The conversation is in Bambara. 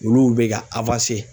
Olu bɛ ka